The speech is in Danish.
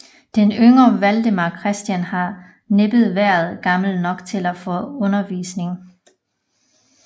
Den yngre Valdemar Christian har næppe været gammel nok til at få undervisning